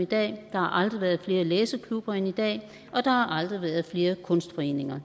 i dag der har aldrig været flere læseklubber end i dag og der har aldrig været flere kunstforeninger